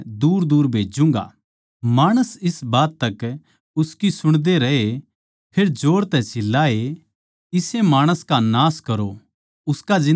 माणस इस बात तक उसकी सुणदे रहे फेर जोर तै चिल्लाए इसै माणस का नाश करो उसका जिन्दा रहणा सही कोनी